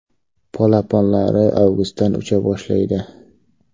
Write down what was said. Polaponlari avgustdan ucha boshlaydi.